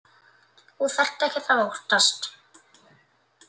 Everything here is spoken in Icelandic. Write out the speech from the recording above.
Þú þarft ekkert að óttast.